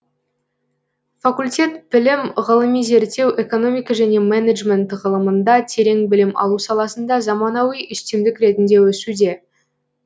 факультет білім ғылыми зерттеу экономика және менеджмент ғылымында терең білім алу саласында заманауи үстемдік ретінде өсуде